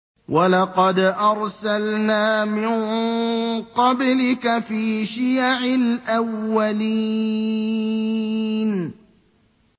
وَلَقَدْ أَرْسَلْنَا مِن قَبْلِكَ فِي شِيَعِ الْأَوَّلِينَ